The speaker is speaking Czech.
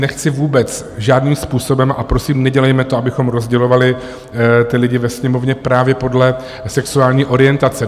Nechci vůbec žádným způsobem - a prosím, nedělejme to, abychom rozdělovali ty lidi ve Sněmovně právě podle sexuální orientace.